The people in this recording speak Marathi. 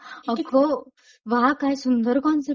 अगं वाह काय सुंदर कॉन्सेप्ट आहे.